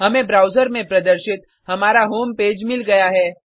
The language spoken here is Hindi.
हमें ब्राउज़र में प्रदर्शित हमारा होम पेज मिल गया है